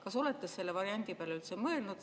Kas olete selle variandi peale üldse mõelnud?